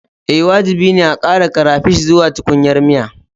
Ee, wajibi ne a ƙara crayfish zuwa tukunyar miya